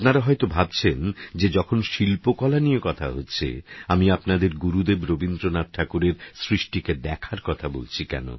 আপনারাহয়তভাবছেনযেযখনশিল্পকলানিয়েকথাহচ্ছে আমিআপনাদেরগুরুদেবরবীন্দ্রনাথঠাকুরেরসৃষ্টিকেদেখারকথাকেনবলছি